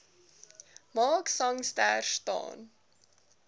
mark sangster staan